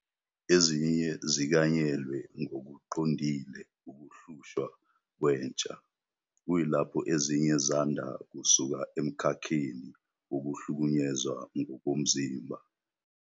Ezinye zikanyelwe ngokuqondile ukuhlushwa kwentsha, kuyilapho ezinye zanda kusuka emkhakheni wokuhlukunyezwa ngokomzimba.